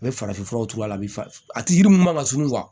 A bɛ farafin furaw turu a la bɛ a ti yiri mun man sunɔgɔ